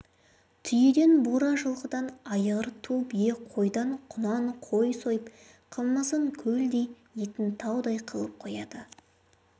түйеден бура жылқыдан айғыр ту бие қойдан құнан қой сойып қымызын көлдей етін таудай қылып қояды